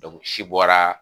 si bɔra.